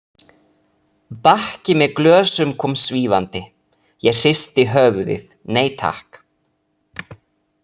Bakki með glösum kom svífandi, ég hristi höfuðið, nei takk.